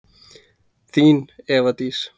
Þín, Eva Dís.